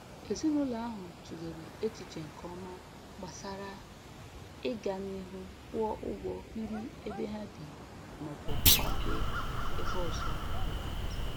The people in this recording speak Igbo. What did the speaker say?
Ezinụlọ ahụ tụlere echiche nke ọma gbasara ịga n'ihu kwụọ ụgwọ biri ebe ha bi maọbụ kwafee ebe ọzọ n'obodo